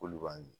K'olu b'a mi